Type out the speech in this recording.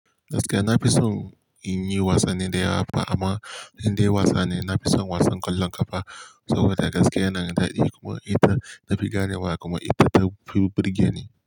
Gaskiya na fi son in yi wasanni da yawa fa amma indai wasa ne, na fi son wasan kwallon kafa saboda gaskiya yana da daɗi kuma ita na fi gane wa kuma ita ta fi burge ni.